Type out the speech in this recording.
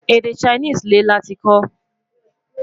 Èdè Chinese lè láti kò